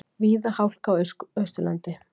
Víða hálka á Austurlandi